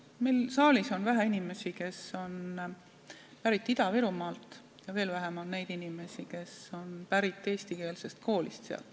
Siin saalis on vähe inimesi, kes on pärit Ida-Virumaalt, ja veel vähem on neid inimesi, kes on käinud sealses eestikeelses koolis.